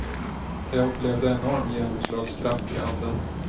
Jag upplevde enorm genomslagskraft i anden.